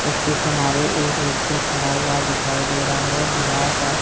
इसके किनारे एक व्यक्ति खड़ा हुआ दिखाई दे रहा है दीवार पर--